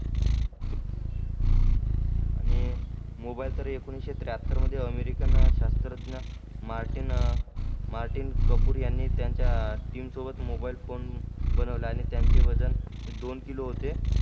आणि मोबाईल तर एकोणीशे त्र्याहत्तर मध्ये अमेरिकन शास्त्रज्ञ मार्टिन मार्टिन कपूर यांनी त्याच्या टीम सोबत मोबाईल फोन बनवला आणि त्याचे वजन दोन किलो होते